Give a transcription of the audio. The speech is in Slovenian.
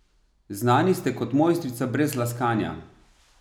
Znani ste kot mojstrica, brez laskanja.